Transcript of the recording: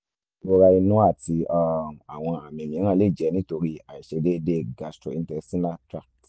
ìrora inú àti um àwọn àmì mìíràn lè jẹ́ nítorí àṣdéédéé gastrointestinal tract